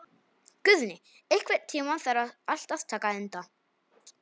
Guðni, einhvern tímann þarf allt að taka enda.